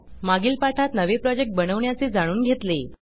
मागील पाठात नवे प्रोजेक्ट बनवण्याचे जाणून घेतले